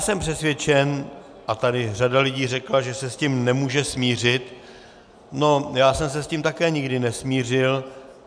Jsem přesvědčen, a řada lidí tady řekla, že se s tím nemůže smířit, já jsem se s tím také nikdy nesmířil.